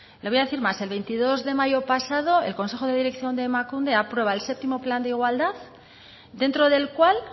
le voy a decir más el veintidós de mayo pasado el consejo de dirección de emakunde aprueba el séptimo plan de igualdad dentro del cual